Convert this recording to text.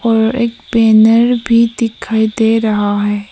और एक बैनर भी दिखाई दे रहा है।